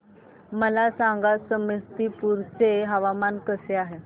मला सांगा समस्तीपुर चे हवामान कसे आहे